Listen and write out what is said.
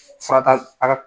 Fara t'a a